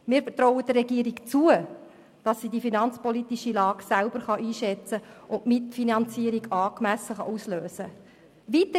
Wir trauen der Regierung zu, dass sie die finanzpolitische Lage selber einschätzen und die Mitfinanzierung angemessen auslösen kann.